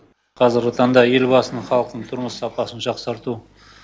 қазіргі таңда елбасының халықтың тұрмыс сапасын жақсарту